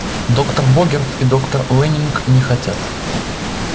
доктор богерт и доктор лэннинг не хотят